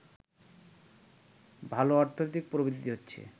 ভাল অর্থনৈতিক প্রবৃদ্ধি হচ্ছে